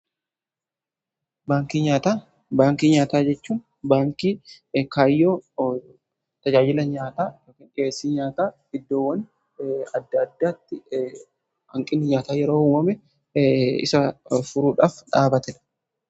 Baankii nyaataa jechuun baankii kaayyoo tajaajila nyaataa dhiyeessii nyaataa iddoowwan adda addaatti hanqinni nyaataa yeroo uumame isa furuudhaaf dhaabatedha.